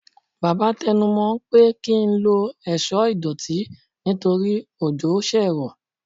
baba tẹnu mo n pe ki n lọ ẹṣọ idotí nítorí òjo sé ro